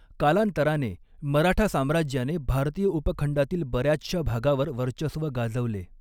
कालांतराने, मराठा साम्राज्याने भारतीय उपखंडातील बऱ्याचश्या भागावर वर्चस्व गाजवले.